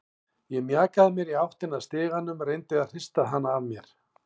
Ég mjakaði mér í áttina að stiganum, reyndi að hrista hana af mér.